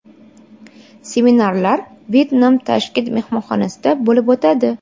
Seminarlar Wyndham Tashkent mehmonxonasida bo‘lib o‘tadi.